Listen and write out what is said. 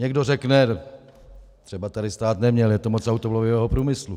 Někdo řekne: třeba tady stát neměl, je tu moc automobilového průmyslu.